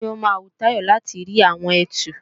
Bóyá ó máa wu Táyọ̀ láti rí àwọn ẹtu